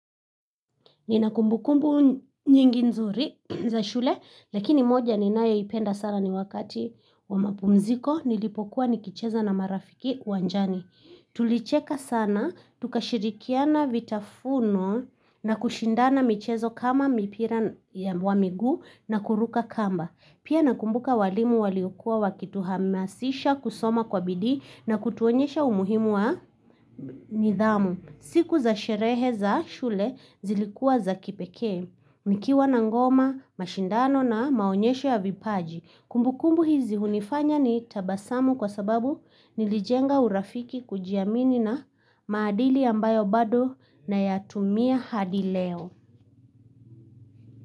Ninakumbukumbu nyingi nzuri za shule, lakini moja ninaeipenda sana ni wakati wa mapumziko nilipokuwa nikicheza na marafiki uwanjani. Tulicheka sana, tukashirikiana vitafuno na kushindana michezo kama mipira wa migu na kuruka kamba. Pia nakumbuka walimu waliokua wakituhamasisha kusoma kwa bidhi na kutuonyesha umuhimu wa nidhamu. Siku za sherehe za shule zilikua za kipeke. Nikiwa na ngoma, mashindano na maonyesho ya vipaji. Kumbukumbu hizi hunifanya ni tabasamu kwa sababu nilijenga urafiki kujiamini na maadili ambayo bado nayatumia hadi leo.